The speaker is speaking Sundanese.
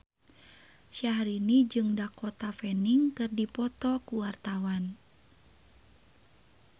Syahrini jeung Dakota Fanning keur dipoto ku wartawan